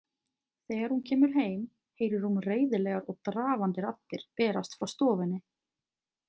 Þegar hún kemur heim heyrir hún reiðilegar og drafandi raddir berast frá stofunni.